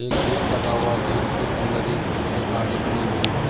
एक गेट लगा हुआ गेट के अंदर बोलेरो गाड़ी खड़ी हुई है।